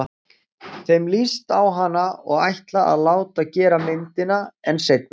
Þeim líst á hana og ætla að láta gera myndina- en seinna.